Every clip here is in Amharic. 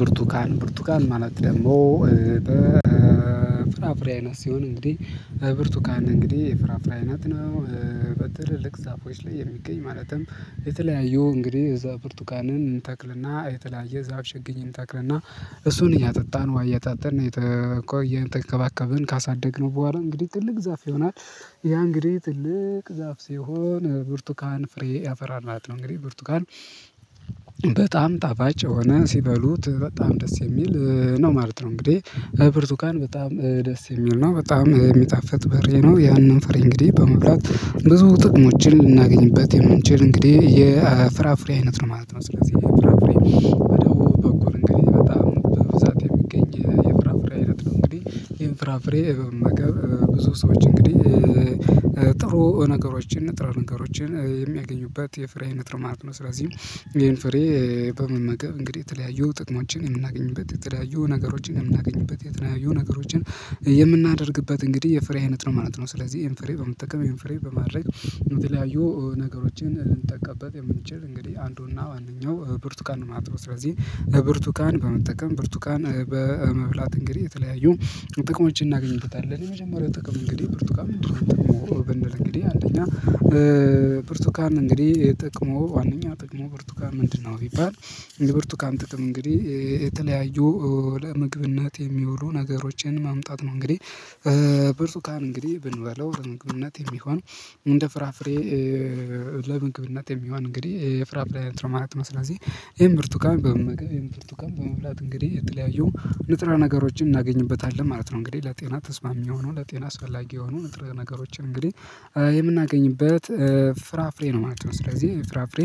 ብርቱካን ብርቱካን ማለት ደግሞ ፍራፍሬ አይነት ሲሆን እንግዲህ ብርቱካን እንግዲህ ፍራፍሬ አይነት ነው። በትልልቅ ዛፎች ላይ የሚገኝ ማለትም የተለያየው እንግዲህ እዛ ብርቱካንን እንተክልና የተለያየ ዛፍ ችግኝ እንተክልና እሱን እያጠጣን ዉሃ እያጣጣን የተከባከብን ካሳደግነው በኋላ እንግዲህ ትልቅ ዛፍ ይሆናል ያ እንግዲህ ትልቅ ዛፍ ሲሆን ብርቱካን ፍሬ ያፈራል ማለት ነው። እንግዲህ ብርቱካን ጣፋጭ ሆነ ሲበሉት በጣም ደስ የሚል ነው ማለት ነው። እንግዲህ ብርቱካን በጣም ደስ የሚል ነው በጣም የሚጣፍጥ በረ ነው። ያንን ፍሬ እንግዲህ በመብላት ብዙ ጥቅሞችን ልናገኝበት የምንችል እንግዲህ የፍራፍሬ አይነት ነው ማለት ነው። ስለዚህ ፍራፍሬ በኩል እንግዲህ በጣም በብዛት የሚገኝ የፍራፍሬ አይነት ነው። እንግዲህ ይሄን ፍራፍሬ ብዙ ሰዎች እንግዲህ ጥሩ ነገሮችን ጥሩ ነገሮችን የሚያገኙበት የፍሬ አይነት ማለት ነው። ስለዚህ ይሄን ፍሬ በመመገብ እንግዲህ የተለያዩ ጥቅሞችን የምናገኝበት የተለያዩ ነገሮችን የምናገኝበት የተለያዩ ነገሮችን የምናደርግበት እንግዲህ የፍሬ አይነት ነው ማለት ነው። ስለዚህ ይሄን ፍሬ በመጠቀም ይሄን ፍሬ በማድረግ የምትለያዩ ነገሮችን ልንጠቀምበት የምንችል እንግዲህ አንዱና ዋናው ብርቱካን ነው ማለት ነው። ስለዚህ ብርቱካን በመጠቀም ብርቱካን በመብላት እንግዲህ የተለያዩ ጥቅሞችን እናገኝበታለን የመጀመሪያው ጥቅም እንግዲህ ብርቱካን ምንድን ነው? ጥቅሙ ብንል እንግዲህ አንደኛ ብርቱካን እንግዲህ ጥቅሙ ዋናኛ ጥቅሙ ብርቱካን ምንድነው ቢባል የብርቱካን ጥቅም እንግዲህ የተለያዩ ለምግብነት የሚውሉ ነገሮችን ማምጣት ነው። እንግዲህ ብርቱካን እንግዲህ ብንበላው ለምግብነት የሚሆነው እንደ ፍራፍሬ ለምግብነት የሚሆን እንግዲህ የፍራፍሬ አይነት ነው ማለት ነው። ስለዚህ ይህን ብርቱካን በመመገብ በመብላት እንግዲህ የተለያየው ንጥረ ነገሮችን እናገኝበታለን ማለት ነው። እንግዲህ ለጤና ተስማሚ የሆኑ ለጤና አሰፈላጊ የሆኑ ንጥረ ነገሮችን እንግዲህ የምናገኝበት ፍራፍሬ ነው ማለት ነው። ስለዚህ ፍራፍሬ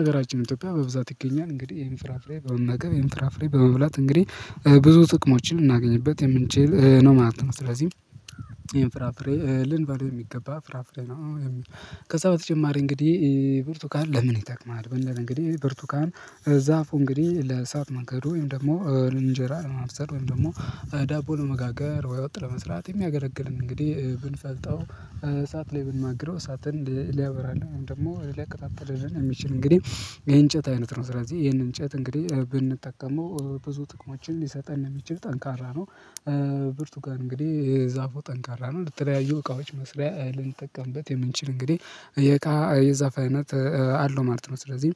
ሀገራችን ኢትዮጵያ በብዛት ይገኛል እንግዲህ ይሄን ፍራፍሬ በመገብ ይሄን የምትራፍሬ በመብላት እንግዲህ ብዙ ጥቅሞችን ልናገኝበት የምንችል ነው ማለት ነው። ስለዚህ ይሄን ፍራፍሬ ልንባል የሚገባ ፍራፍሬ ነው። ከዛ በተጨማሪ እንግዲህ ብርቱካን ለምን ይጠቅማል? ብንል እንግዲህ ብርቱካን ዛፉ እንግዲህ ለሳት ማገዶ ወይም ደግሞ እንጀራ ለማብሰል ወይም ደግሞ ዳቦ ለመጋገር ወጥ ለመስራት የሚያገለግልን እንግዲህ ብንፈልጠው እሳት ላይ ብንማግረው እሳትን ሊያበራልን ወይም ደግሞ ሊያቀጣጥልን ሚችል እንግዲህ የእንጨት አይነት ነው። ስለዚህ ይሄንን እንጨት እንግዲህ ብንጠቀመው ብዙ ጥቅሞችን ሊሰጠን የሚችል ጠንካራ ነው። ብርቱካን እንግዲህ ዛፉ ጠንካራ ነው ለተለያዩ እቃዎች መስሪያ ልንጠቀምበት የምንችል እንግዲህ የዛፍ አይነት አለው ማለት ነው። ስለዚህ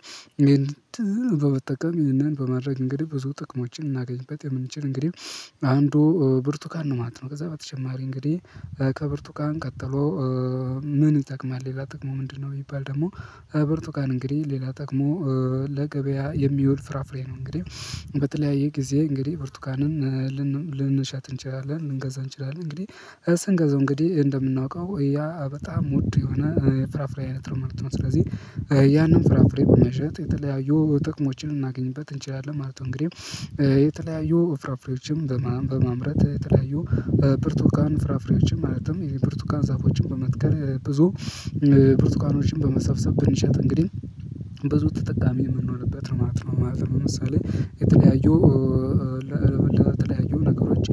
በመጠቀም ይሄንን በማድረግ እንግዲህ ብዙ ጥቅሞችን እናገኝበት የምንችል እንግዲህ አንዱ ብርቱካን ነው ማለት ነው። ከዛ በተጨማሪ እንግዲህ ከብርቱካን ቀጥሎ ምን ይጠቅማል ሌላ ጥቅሙ ምንድነው? ቢባል ደግሞ በርቱካን እንግዲህ ሌላ ጥቅሙ ለገበያ የሚውል ፍራፍሬ ነው። እንግዲህ በተለያየ ጊዜ እንግዲህ ብርቱካንን ልንሸጥ እንችላለን ልንገዛ እንችላለን እንግዲህ ስንገዛው እንግዲህ እንደምናውቀው ያ በጣም ውድ የሆነ ፍራፍሬ አይነት ነው ማለት ነው። ስለዚህ ያንን ፍራፍሬ በመሸጥ የተለያዩ ጥቅሞችን ልናገኝበት እንችላለን ማለት ነው። እንግዲህ የተለያዩ ፍራፍሬዎችም በማምረት የተለያዩ ብርቱካን ፍራፍሬዎችም ማለትም የብርቱካን ዛፎችን በመትከል ብዙ ብርቱካኖችን በመሰፍሰፍ ብንሸጥ እንግዲህ ብዙ ተጠቃሚ የምንሆንበት ነው ማለት ነው ማለት ነው። ለምሳሌ የተለያዩ ለተለያዩ ነገሮች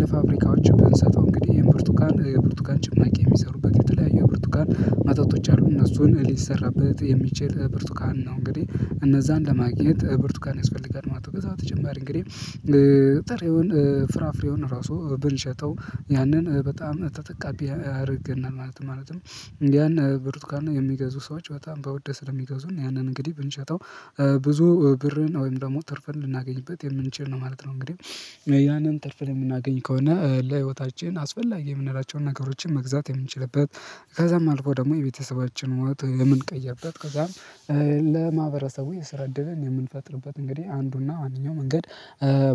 ለፋብሪካዎች ብንሰጠው እንግዲህ ይሄን ብርቱካን የብርቱካን ጭምር የሚሰሩበት የተለያየ ብርቱካን መጠጦቶች አሉና እሱን ሊሰራበት የሚችል ብርቱካን ነው እንግዲህ እነዛን ለማግኘት ብርቱካን ያስፈልጋል ማለት ነው። ከዛ ተጨማሪ እንግዲህ ጥሪውን ፍራፍሬውን ራሱ ብንሸጠው ያንን በጣም ተጠቃሚ ያደርግናል ማለት ነው። ማለትም ያን ብርቱካና የሚገዙ ሰዎች በጣም በወድ ስሚገዙን ያንን እንግዲህ ብንሸጠው ብዙ ብርን ወይም ደግሞ ትርፍን ልናገኝበት የምንችል ነው ማለት ነው። እንግዲህ ያንን ትርፍን የምናገኝ ከሆነ ለህይወታችን አስፈላጊ የምንላቸውን ነገሮችን መግዛት የምንችልበት ከዛም አልፎ ደግሞ የቤተሰባችን ህይወት የምንቀይርበት ከዛም ለማህበረሰቡ የስራ እድልን የምንፈጥርበት እንግዲህ አንዱና ዋነኛው መንገድ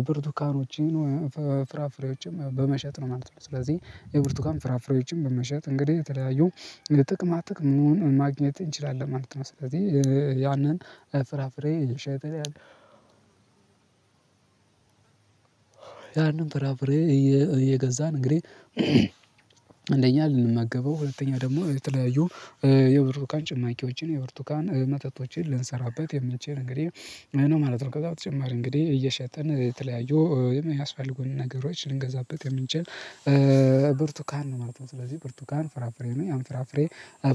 ብርቱካኖች ፍራፍሬዎችም በመሸጥ ነው ማለት ነው። ስለዚህ የብርቱካን ፍራፍሬዎችን በመሸጥ እንግዲህ የተለያዩ ጥቅማ ጥቅሙን ማግኘት እንችላለን ማለት ነው። ስለዚህ ያንን ፍራፍሬ የሸጠ ያንን ፍራፍሬ እየገዛን እንግዲህ አንደኛ ልንመገበው ሁለተኛ ደግሞ የተለያዩ የብርቱካን ጭማቂዎችን የብርቱካን መጠጦችን ልንሰራበት የሚችል እንግዲህ ማለት ነው። ከዛ በተጨማሪ እንግዲህ እየሸጠን የተለያዩ የሚያስፈልጉንን ነገሮች ልንገዛበት የምንችል ብርቱካን ነው ማለት ነው። ስለዚህ ብርቱካን ፍራፍሬ ነው ያን ፍራፍሬ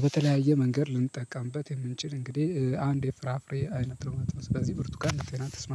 በተለያየ መንገድ ልንጠቀምበት የምንችል እንግዲህ አንድ የፍራፍሬ አይነት ነው ማለት ነው። በዚህ ብርቱካን ለጤና ተስማሚ